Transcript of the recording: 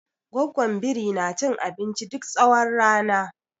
Goggon biri na cin abinci duk tsawon rana.